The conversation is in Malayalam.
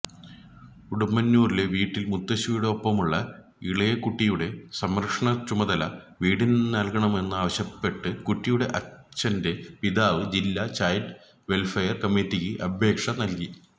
ഉടുമ്പന്നൂരിലെ വീട്ടില് മുത്തശ്ശിയുടെയൊപ്പമുള്ള ഇളയകുട്ടിയുടെ സംരക്ഷണച്ചുമതല വിട്ടുനല്കണമെന്നാവശ്യപ്പെട്ട് കുട്ടിയുടെ അച്ഛന്റെ പിതാവ് ജില്ലാ ചൈല്ഡ് വെല്ഫെയര് കമ്മിറ്റിക്ക് അപേക്ഷ നല്കി